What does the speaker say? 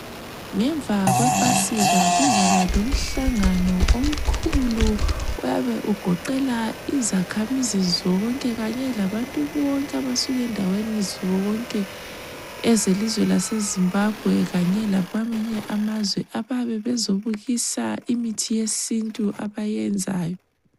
Ngemva kwephasika kuzaba lomhlangano omkhulu oyabe ugoqela izakhamizi zonke kanye, labantu bonke abasuka endaweni zonke ezelizwe lasezimbabwe kanye lakwamanye amazwe abayabe bezobukisa imithi yesintu abayenzayo.